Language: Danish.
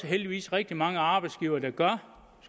heldigvis rigtig mange arbejdsgivere der gør